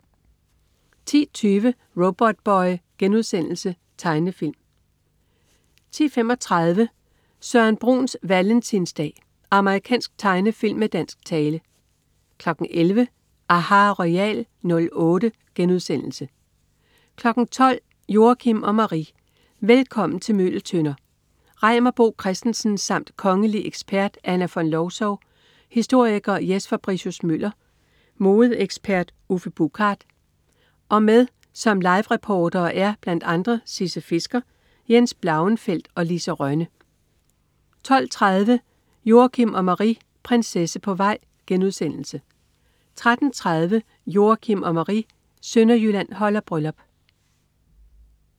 10.20 Robotboy.* Tegnefilm 10.35 Søren Bruns valentinsdag. Amerikansk tegnefilm med dansk tale 11.00 aHA! Royal '08* 12.00 Joachim og Marie: Velkommen til Møgeltønder. Reimer Bo Christensen, samt kongelig ekspert Anna Von Lowzow, historiker Jes Fabricius Møller, modeekspert Uffe Buchard og med som livereportere er blandt andre Sisse Fisker, Jens Blauenfeldt og Lise Rønne 12.30 Joachim og Marie: Prinsesse på vej* 13.30 Joachim og Marie: Sønderjylland holder bryllup